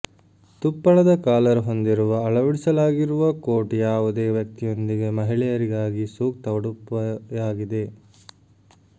ತುಪ್ಪಳದ collar ಹೊಂದಿರುವ ಅಳವಡಿಸಲಾಗಿರುವ coat ಯಾವುದೇ ವ್ಯಕ್ತಿಯೊಂದಿಗೆ ಮಹಿಳೆಯರಿಗಾಗಿ ಸೂಕ್ತ ಉಡುಪುಯಾಗಿದೆ